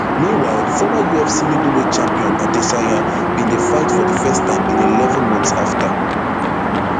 meanwhile former ufc middleweight champion adesanya bin dey fight for di first time in eleven months afta